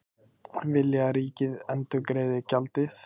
Vilja að ríkið endurgreiði gjaldið